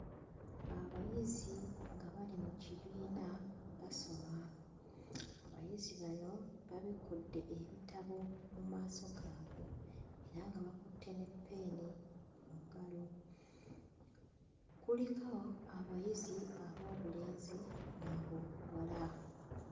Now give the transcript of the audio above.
Abayizi nga bali mu kibiina basoma. Abayizi bano babikkudde ebitabo mu maaso gaabwe era nga bakutte ne ppeeni mu ngalo. Kuliko abayizi ab'obulenzi n'ab'obubuwala.